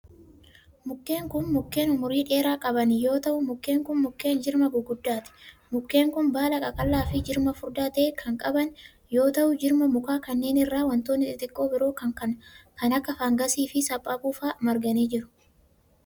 Mukkeen kun mukkeen umurii dheeraa qabanii yoo ta'u, mukkeen kun mukkeen jirma guguddaati. Mukkeen kun baala qaqallaa fi jirma furdaa ta'e qaban yoo ta'u, jirma mukaa kanneen irra wantoonni xixiqqoo biroon kan akka fangasii fi saaphaphuu faa irra marganii jiru.